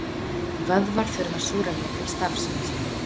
vöðvar þurfa súrefni til starfsemi sinnar